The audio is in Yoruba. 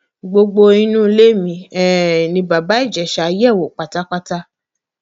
gbogbo inú ilé mi um ni bàbá ìjẹsa yẹ wò pátápátá